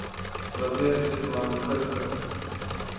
strategiese plan gister